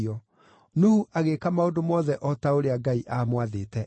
Nuhu agĩĩka maũndũ mothe o ta ũrĩa Ngai aamwathĩte eeke.